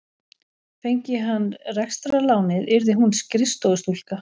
Fengi hann rekstrarlánið yrði hún skrifstofustúlka.